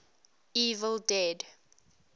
evil dead